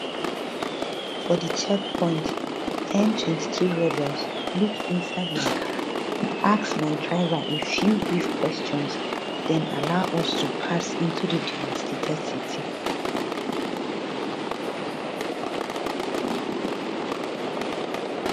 for di checkpoint m23 rebels look inside my car ask my driver a few brief questions den allow us to pass into di devastated city